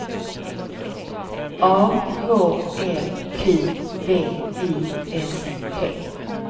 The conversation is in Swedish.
A H L Q V I S T